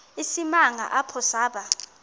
isimanga apho saba